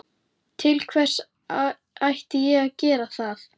Til hvers ætti ég að gera það?